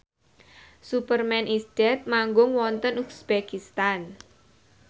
Superman is Dead manggung wonten uzbekistan